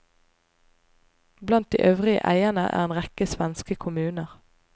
Blant de øvrige eierne er en rekke svenske kommuner.